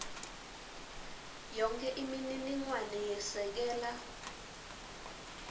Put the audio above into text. yonkhe imininingwane yesekela